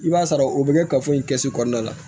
I b'a sɔrɔ o bɛ kɛ ka fɔ in kɛ so kɔnɔna la